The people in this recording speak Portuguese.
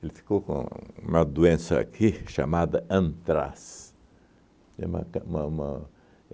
Ele ficou com uma doença aqui chamada antraz. Tem uma ca uma uma